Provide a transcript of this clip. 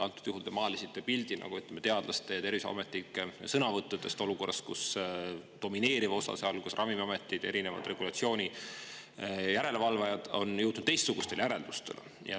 Antud juhul te maalisite pildi teadlaste ja terviseametnike sõnavõttudest, kuigi domineeriv osa, sealhulgas ravimiametid ja erinevad regulatsiooni järelevalvajad, on jõudnud teistsugustele järeldustele.